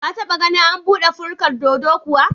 Ka taɓa ganin an buɗe furkar dodo kuwa?